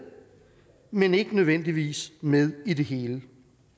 men ikke nødvendigvis med i det hele